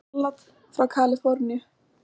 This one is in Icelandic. Salat frá Kaliforníu